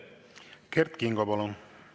Kert Kingo, palun!